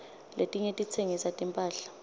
letinye titsengisa timphahla